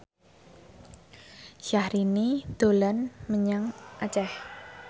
Syahrini dolan menyang Aceh